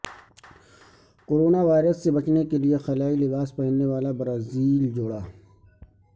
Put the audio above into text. corona virus سے بچنے کے لیے خلائی لباس پہننے والا برازیلین جوڑا